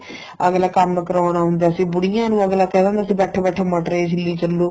ਅੱਗਲਾ ਕੰਮ ਕਰਾਉਣ ਆਉਂਦਾ ਸੀ ਬੁੜੀਆਂ ਨੂੰ ਅੱਗਲਾ ਕਹਿੰਦਾ ਹੁੰਦਾ ਸੀ ਬੈਠੋ ਬੈਠੋ ਮਟਰ ਏ ਛਿਲੀ ਚਲੋ